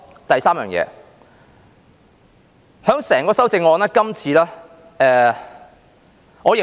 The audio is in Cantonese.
第三件事，就整項修正案而言，今次我認為......